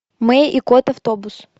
мэй и кот автобус